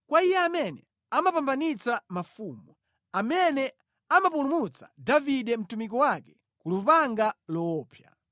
kwa Iye amene amapambanitsa mafumu, amene amapulumutsa Davide mtumiki wake ku lupanga loopsa.